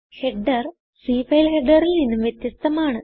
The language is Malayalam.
ഹെഡർ Cഫയൽ ഹെഡറിൽ നിന്നും വ്യത്യസ്തമാണ്